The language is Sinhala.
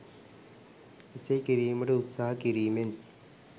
එසේ කිරීමට උත්සාහ කිරීමෙන්